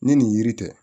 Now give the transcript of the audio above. Ni nin yiri tɛ